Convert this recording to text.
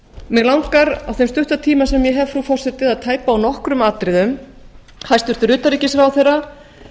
mig langar á þeim stutta tíma sem ég hef frú forseti að tæpa á nokkrum atriðum hæstvirts utanríkisráðherra